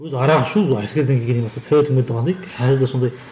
өзі арақ ішу әскерден келгеннен бастайды совет өкіметі қандай қазір де сондай